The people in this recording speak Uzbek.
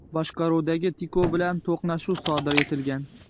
boshqaruvidagi Tico bilan to‘qnashuv sodir etgan.